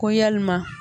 Ko yalima